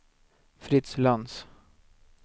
Fritz Lantz